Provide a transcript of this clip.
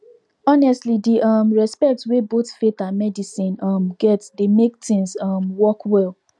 honestly di um respect wey both faith and medicine um get dey make things um work well